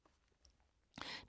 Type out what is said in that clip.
DR2